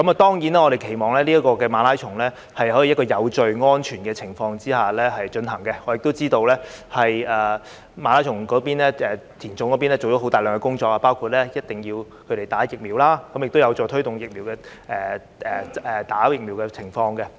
當然，我們期望馬拉松可以在有序、安全的情況下進行，我亦知道"田總"做了大量工作，包括要求參賽者必須接種疫苗，這亦有助推動疫苗的接種。